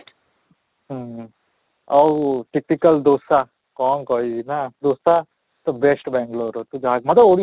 ହୁଁ ଆଉ ଦୋଷା କଣ କହିବି ନା ଦୋଷା ତ best ବାଙ୍ଗାଲୁରରେ ମୋତେ ଓଡ଼ିଶା